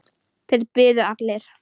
Þeir biðu allir.